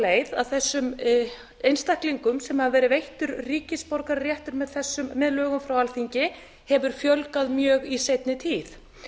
leið að þessum einstaklingum sem hafa verið veittur ríkisborgararéttur með lögum frá alþingi hefur fjölgað mjög í seinni tíð